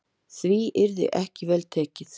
Því yrði ekki vel tekið.